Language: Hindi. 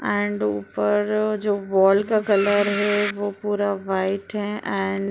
एंड ऊपर जो वाल का कलर है वह पूरा वाइट है एंड --